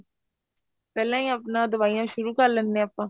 ਪਹਿਲਾਂ ਹੀ ਆਪਣਾ ਦਵਾਈਆਂ ਸ਼ੁਰੂ ਕ਼ਰ ਲੈਨੇ ਆ ਆਪਾਂ